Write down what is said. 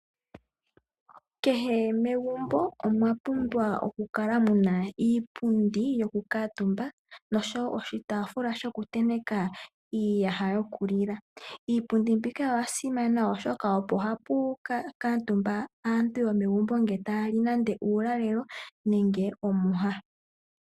Kehe megumbo omwa pumbwa okukala muna iipundi yokukutumba noshowoo oshitaafula shokutenteka iiyaha yokulila. Iipundi mbika oyasimana molwaashoka ohapu kuutumba aantu yomegumbo ngele taya li uulalelo nenge omwiha.